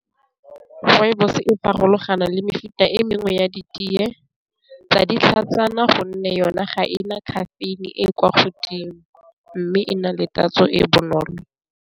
Rooibos e farologana le mefuta e mengwe ya di teye tsa ditlhatsana gonne yona ga ena caffeine e e kwa godimo, mme e na le tatso e bonolo.